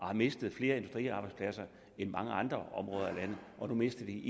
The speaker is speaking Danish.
har mistet flere industriarbejdspladser end mange andre områder af landet og nu mister de